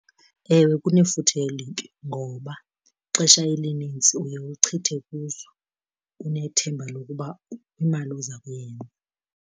Ewe kunefuthe elibi, ngoba ixesha elinintsi uye uchithe kuzo unethemba lokuba imali oza kuyeka.